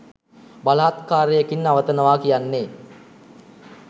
බලහත්කාරයකින් නවතනවා කියන්නේ